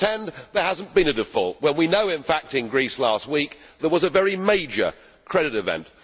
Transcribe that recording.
We pretend there has not been a default when we know in fact that in Greece last week there was a very major credit event.